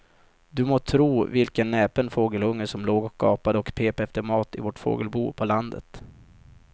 Du må tro vilken näpen fågelunge som låg och gapade och pep efter mat i vårt fågelbo på landet.